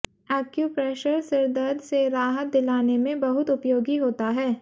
acupressure सिरदर्द से राहत दिलाने में बहुत उपयोगी होता है